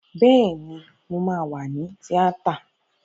Bẹ́ẹ̀ni, mo wà ní tíátà